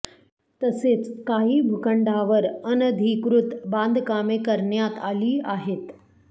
तसेच काही भूखंडावर अनधिकृत बांधकामे करण्यात आली आहेत